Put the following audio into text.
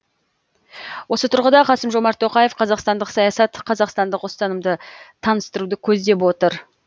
осы тұрғыда қасым жомарт тоқаев қазақстандық саясат қазақстандық ұстанымды таныстыруды көздеп отыр